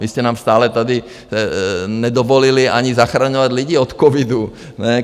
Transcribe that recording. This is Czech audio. Vy jste nám stále tady nedovolili ani zachraňovat lidi od covidu.